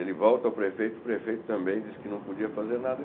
Ele volta ao prefeito, o prefeito também diz que não podia fazer nada.